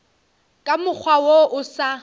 ka mokgwa wo o sa